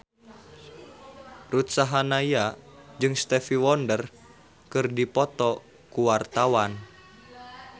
Ruth Sahanaya jeung Stevie Wonder keur dipoto ku wartawan